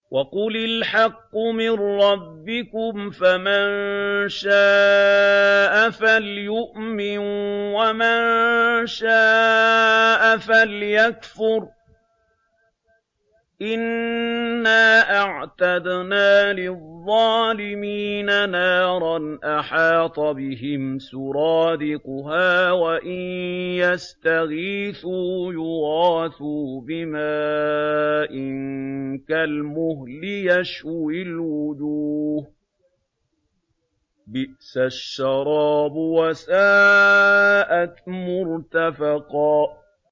وَقُلِ الْحَقُّ مِن رَّبِّكُمْ ۖ فَمَن شَاءَ فَلْيُؤْمِن وَمَن شَاءَ فَلْيَكْفُرْ ۚ إِنَّا أَعْتَدْنَا لِلظَّالِمِينَ نَارًا أَحَاطَ بِهِمْ سُرَادِقُهَا ۚ وَإِن يَسْتَغِيثُوا يُغَاثُوا بِمَاءٍ كَالْمُهْلِ يَشْوِي الْوُجُوهَ ۚ بِئْسَ الشَّرَابُ وَسَاءَتْ مُرْتَفَقًا